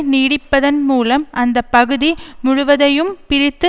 நீடிப்பதன் மூலம் அந்த பகுதி முழுவதையும் பிரித்து